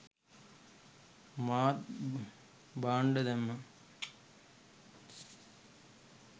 මාත් බාන්ඩ දැම්මා.